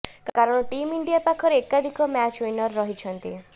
କାରଣ team India ପାଖରେ ଏକାଧିକ ମ୍ୟାଚ୍ ୱିନର ରହିଛନ୍ତି